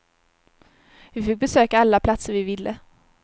Vi fick besöka alla platser vi ville.